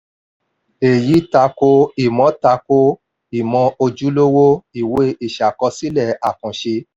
èyí tako ìmọ̀ tako ìmọ̀ ojúlówó ìwé ìṣàkọsílẹ̀ àkànṣe.